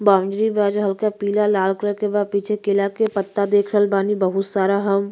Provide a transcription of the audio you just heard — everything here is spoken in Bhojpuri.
बाउंड्री बा जो हल्का पीला लाल कलर के बा। पीछे केला के पत्ता देख रहल बानी बहुत सारा हम।